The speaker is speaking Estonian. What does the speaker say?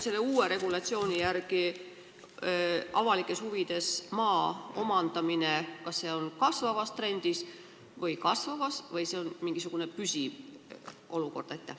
Kas uue regulatsiooni järgi avalikes huvides maa omandamine on kasvavas trendis või kahanevas trendis või on tegu püsiva olukorraga?